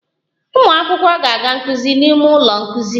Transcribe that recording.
Ụmụ akwụkwọ na-aga nkuzi n'ime ụlọ nkuzi